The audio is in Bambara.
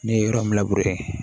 Ne ye yɔrɔ min labure